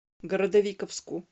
городовиковску